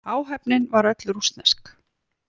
Áhöfnin var öll rússnesk